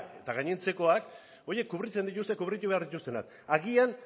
eta gainontzekoak horiek kubritzen dituzten kubritu behar dituztenak agian